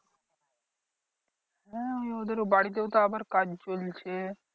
হ্যাঁ ওই ওদের বাড়িতেও তো আবার কাজ চলছে।